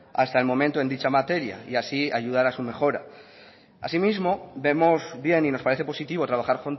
hasta el momento en dicha materia y así ayudar a su mejora asimismo vemos bien y nos parece positivo trabajar